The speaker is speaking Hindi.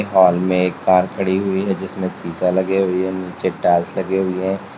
हॉल मे एक कार खड़ी हुई है जिसमें शीशा लगे हुए है नीचे टाइल्स लगे हुए--